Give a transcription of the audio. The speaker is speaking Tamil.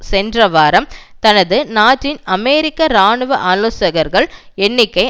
சென்ற வாரம் தனது நாட்டில் அமெரிக்க இராணுவ ஆலோசகர்கள் எண்ணிக்கை